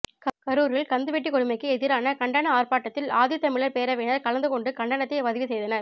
கரூரில் கந்து வட்டி கொடுமைக்கு எதிரான கண்டன ஆர்ப்பாட்டத்தில் ஆதித்தமிழர் பேரவையினர் கலந்து கொண்டு கண்டனத்தை பதிவு செய்தனர்